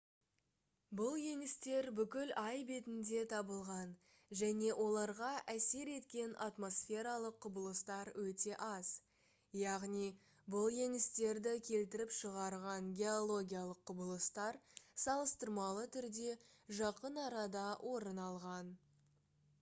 бұл еңістер бүкіл ай бетінде табылған және оларға әсер еткен атмосфералық құбылыстар өте аз яғни бұл еңістерді келтіріп шығарған геологиялық құбылыстар салыстырмалы түрде жақын арада орын алған